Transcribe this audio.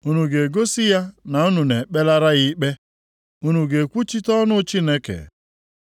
Unu ga-egosi ya na unu na-ekpelara ya ikpe? Unu ga-ekwuchite ọnụ Chineke?